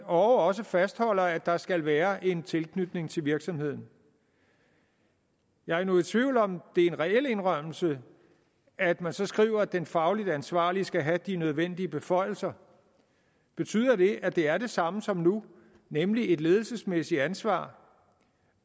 også fastholder at der skal være en tilknytning til virksomheden jeg er nu i tvivl om om det er en reel indrømmelse at man så skriver at den fagligt ansvarlige skal have de nødvendige beføjelser betyder det at det er det samme som nu nemlig et ledelsesmæssigt ansvar